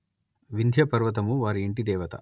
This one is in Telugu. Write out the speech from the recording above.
వింధ్యపర్వతము వారి యింటిదేవత